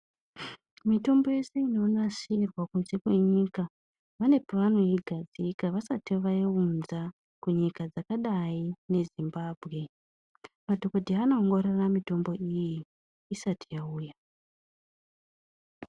Mitombo yese inonasirwa kunze kwenyika pane pavanoigadzika vasati vaiunza kunyika dzakadai ngeZimbabwe. Madhogodheya anoongorora mitombo iyi isati yauya.